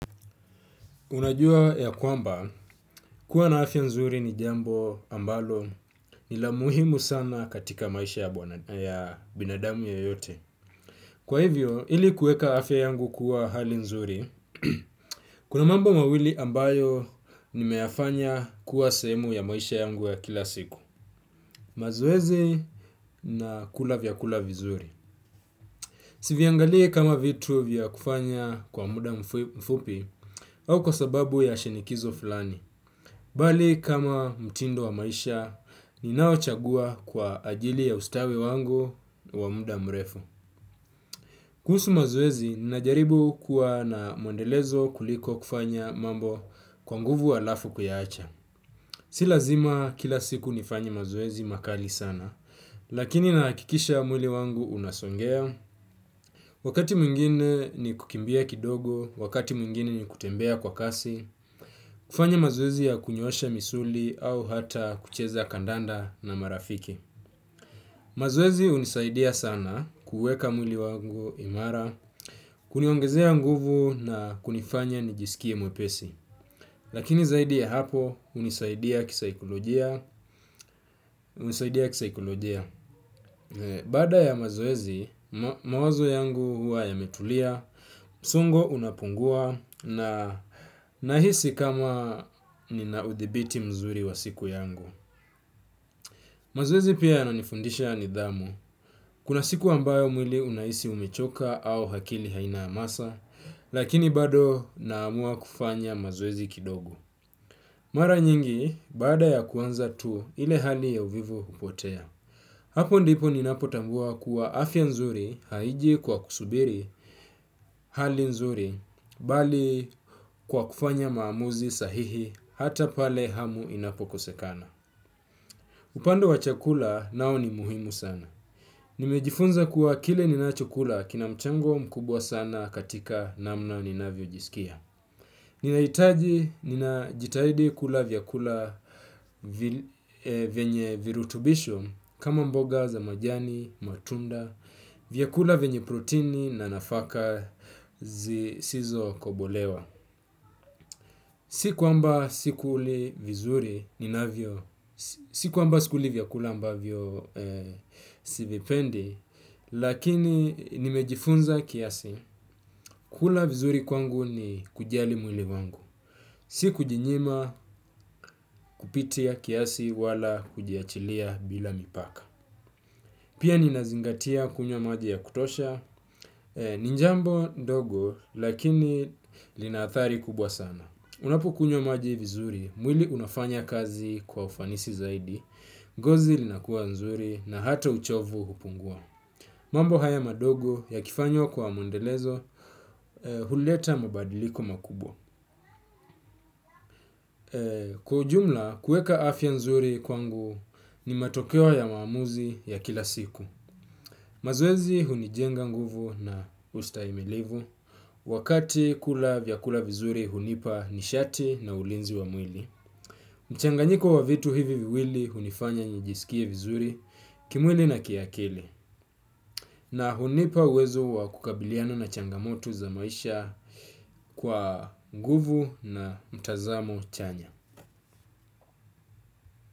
Unajua ya kwamba, kuwa na afya nzuri ni jambo ambalo ni la muhimu sana katika maisha ya binadamu yeyote. Kwa hivyo, ili kueka afya yangu kuwa hali nzuri, kuna mambo mawili ambayo nimeyafanya kuwa sehemu ya maisha yangu ya kila siku. Mazoezi na kula vyakula vizuri si viangalii kama vitu vya kufanya kwa muda mfupi au kwa sababu ya shinikizo flani. Bali kama mtindo wa maisha, ninaochagua kwa ajili ya ustawi wangu wa muda mrefu. Kuhusu mazoezi, ninajaribu kuwa na mwendelezo kuliko kufanya mambo kwa nguvu alafu kuyaacha. Si lazima kila siku nifanye mazoezi makali sana, lakini nahakikisha mwili wangu unasongea. Wakati mwingine ni kukimbia kidogo, wakati mwingine ni kutembea kwa kasi. Kufanya mazoezi ya kunyoosha misuli au hata kucheza kandanda na marafiki. Mazoezi unisaidia sana kuuweka mwili wangu imara. Kuniongezea nguvu na kunifanya nijisikie mwepesi lakini zaidia hapo hunisaidia kisaikolojia hunisaidia kisaikolojia. Baada ya mazoezi, mawazo yangu hua yametulia. Msongo unapungua na nahisi kama nina udhibiti mzuri wa siku yangu. Mazoezi pia yananifundisha nidhamu kuna siku ambayo mwili unaisi umechoka au hakili haina amasa. Lakini bado naamua kufanya mazoezi kidogo. Mara nyingi baada ya kuanza tu ile hali ya uvivu hupotea. Hapo ndipo ninapotambua kuwa afya nzuri haiji kwa kusubiri hali nzuri bali kwa kufanya maamuzi sahihi hata pale hamu inapokosekana. Upande wa chakula nao ni muhimu sana. Nimejifunza kuwa kile ninachokula kina mchango mkubwa sana katika namnao ninavyojisikia. Ninahitaji ninajitahidi kula vyakula vienye virutubisho kama mboga za majani, matunda, vyakula venye protini na nafaka zisizokobolewa. Siku kwamba sikuli vizuri ninavyo, siku kwamba sikuli vyakula ambavyo sivipendi, lakini nimejifunza kiasi, kula vizuri kwangu ni kujali mwili wangu. Si kujinyima kupitia kiasi wala kujiachilia bila mipaka. Pia ninazingatia kunywa maji ya kutosha, ni njambo dogo lakini lina athari kubwa sana. Unapukunywa maji vizuri, mwili unafanya kazi kwa ufanisi zaidi, gozi linakuwa nzuri na hata uchovu hupungua. Mambo haya madogo yakifanywa kwa mwendelezo, huleta mabadiliko makubwa. Kwa ujumla, kueka afya nzuri kwangu ni matokeo ya maamuzi ya kila siku. Mazoezi hunijenga nguvu na ustaimilivu, wakati kula vyakula vizuri hunipa nishati na ulinzi wa mwili. Mchanganyiko wa vitu hivi viwili hunifanya njisikie vizuri kimwili na kiakili na hunipa uwezo wa kukabiliana na changamoto za maisha kwa nguvu na mtazamo chanya.